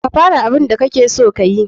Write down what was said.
Ka fara abun da kakeso kayi.